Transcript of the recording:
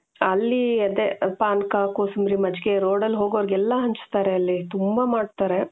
ಅಲ್ಲಿ ಅದೇ ಪಾನಕ ಕೋಸಂಬರಿ ಮಜ್ಜಿಗೆ ರೋಡ್ ಅಲ್ಲಿ ಹೋಗೋರಿಗೆಲ್ಲಾ ಹಂಚ್ತಾರೆ ಅಲ್ಲಿ ತುಂಬಾ ಮಾಡ್ತಾರೆ .